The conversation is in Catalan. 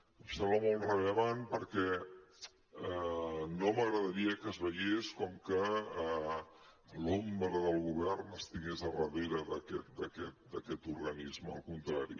em sembla molt rellevant perquè no m’agradaria que es veiés com que l’ombra del govern estigués darrere d’aquest organisme al contrari